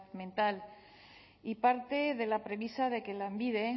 mental y parte de la premisa de que lanbide